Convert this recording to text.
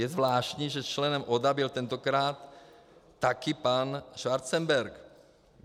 Je zvláštní, že členem ODA byl tentokrát taky pan Schwarzenberg.